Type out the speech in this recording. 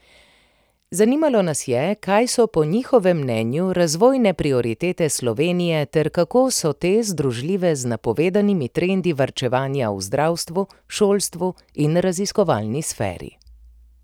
Zanimalo nas je, kaj so po njihovem mnenju razvojne prioritete Slovenije ter kako so te združljive z napovedanimi trendi varčevanja v zdravstvu, šolstvu in raziskovalni sferi.